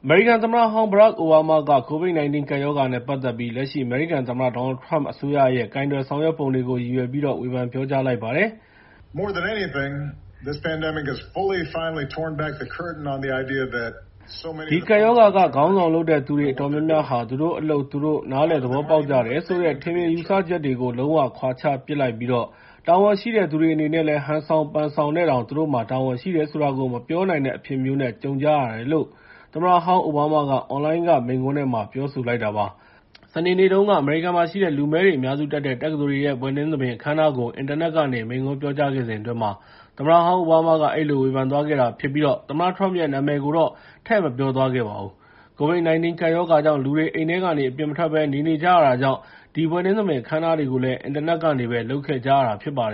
မေရိကန်သမ္မတဟောင်း Barack Obama က COVID-19 ကပ်ရောဂါနဲ့ ပတ်သက်ပြီး လက်ရှိ အမေရိကန်သမ္မတ Donald Trump အစိုးရရဲ့ ကိုင်တွယ်ဆောင်ရွက်ပုံတွေကို ရည်ရွယ်ပြီး ဖေန်ပြောကြားလိုက်ပါတယ်။ “ဒီကပ်ရောဂါက ခေါင်းဆောင်လုပ်တဲ့သူတွေ အတော်များများဟာ သူတို့အလုပ်သူတို့ နားလည်သဘောပေါက်ကြတယ်ဆိုတဲ့ ထင်မြင်ယူဆချက်တွေကို လုံးဝခွာချပစ်လိုက်ပြီး တာဝန်ရှိတဲ့သူတွေ အနေနဲ့လည်း ဟန်ဆောင်ပန်ဆောင်နဲ့တောင် သူတို့မှာ တာဝန်ရှိတယ်ဆိုတာကို မပြောနိုင်တဲ့ အဖြစ်မျိုးနဲ့ ကြုံကြရတယ်” လို့ သမ္မတဟောင်း Obama က အွန်လိုင်းက မိန့်ခွန်းထဲမှာ ပြောဆိုလိုက်တာပါ။ စနေနေ့တုန်းက အမေရိကန်မှာရှိတဲ့ လူမည်းတွေ အများစုတက်တဲ့ တက္ကသိုလ်တွေ ဘွဲ့နှင်းသဘင် အခမ်းအနားကို အင်တာနက်ကနေ မိန့်ခွန်းပြောကြားခဲ့စဉ်အတွင်း သမ္မတဟောင်း Obama က အဲဒီလို ဝေဖန်သွားခဲ့တာဖြစ်ပြီး သမ္မတ Trump ရဲ့ နာမည်ကိုတော့ ထည့်မပြောသွားခဲ့ပါဘူး။ COVID-19 ကပ်ရောဂါကြောင့် လူတွေ အိမ်ထဲကနေ အပြင်မထွက်ဘဲ နေနေကြတာကြောင့် အဲဒီ ဘွဲ့နှင်းသဘင် အခမ်းအနားတွေကိုလည်း အင်တာနက်ကနေပဲ လုပ်ခဲ့ကြတာပါ။